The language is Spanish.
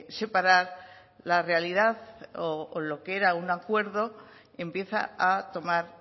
separar la realidad lo que era un acuerdo empieza a tomar